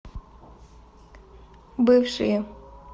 бывшие